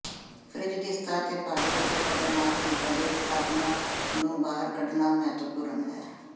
fridge ਦੀ ਸਤਹ ਤੇ ਭਾਰੀ ਅਤੇ ਖਤਰਨਾਕ ਚੀਜ਼ਾਂ ਦੀ ਸਥਾਪਨਾ ਨੂੰ ਬਾਹਰ ਕੱਢਣਾ ਮਹੱਤਵਪੂਰਨ ਹੈ